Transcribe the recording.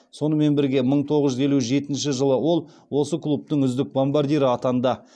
сонымен бірге мың тоғыз жүз елу жетінші жылы ол осы клубтың үздік бомбардирі атанды